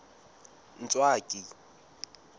ntswaki